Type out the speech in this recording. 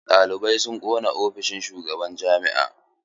Ɗalibai sun ƙona ofishin shugaban jami'a.